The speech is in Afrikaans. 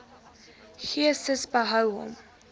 gcis behou hom